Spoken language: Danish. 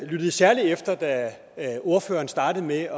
lyttede særlig efter da ordføreren startede med at